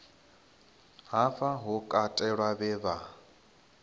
hafha hu katelwa vhe vha